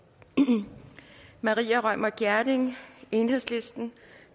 maria reumert gjerding